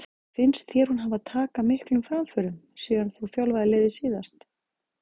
Finnst þér hún hafa taka miklum framförum síðan þú þjálfaðir liðið síðast?